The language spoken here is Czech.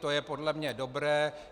To je podle mne dobré.